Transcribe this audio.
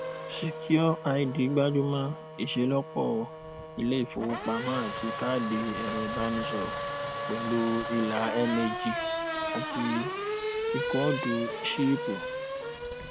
secureid gbájú mọ ìṣelọpọ ilé ìfowópamọ àti káàdì ẹrọìbánisọrọ pẹlú ìlà mag àti ìkóòdù ṣíìpù